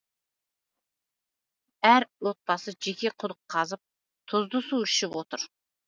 әр отбасы жеке құдық қазып тұзды су ішіп отыр